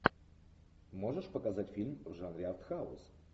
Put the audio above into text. можешь показать фильм в жанре артхаус